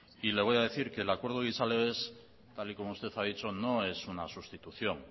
y le voy a decir que el acuerdo gizalegez tal y como usted ha dicho no es una sustitución